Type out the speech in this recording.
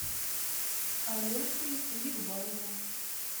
алешей бикбаевым